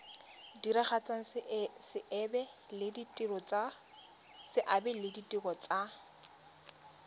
diragatsa seabe le ditiro tsa